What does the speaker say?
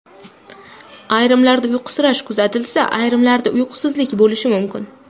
Ayrimlarda uyqusirash kuzatilsa, ayrimlarida uyqusizlik bo‘lishi mumkin.